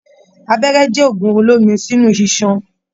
Abẹ́rẹ́ jẹ òògùn olómi sínú ìsàn